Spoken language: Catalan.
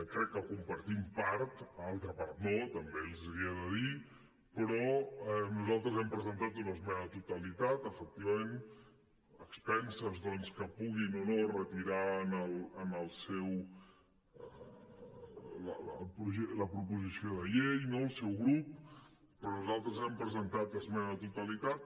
crec que en compartim part altra part no també els hi he de dir però nosaltres hem presentat una esmena a la totalitat efectivament a expenses doncs que puguin o no retirar la proposició de llei no el seu grup però nosaltres hem presentat esmena a la totalitat